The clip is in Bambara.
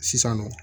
Sisan nɔ